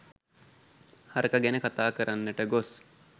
හරකා ගැන කතා කරන්නට ගොස්